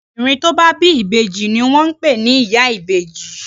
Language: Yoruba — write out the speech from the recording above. Obìnrin tó bá bí ìbejì ni wọ́n pè ni ìyá ìbejì.